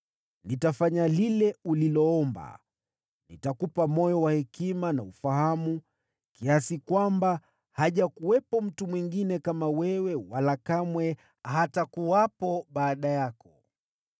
nitafanya lile uliloomba. Nitakupa moyo wa hekima na wa ufahamu, kiasi kwamba hajakuwepo mtu mwingine kama wewe, wala kamwe hatakuwepo baada yako.